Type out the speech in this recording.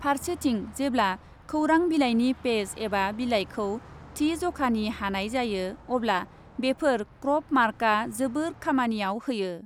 फारसेथिं जेब्ला खौरां बिलाइनि पेज एबा बिलाइखौ थि ज'खानि हानाय जायो अब्ला बेफोर क्रप मार्कआ जोबोद खामानियाव होयो।